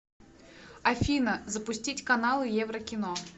афина запустить каналы еврокино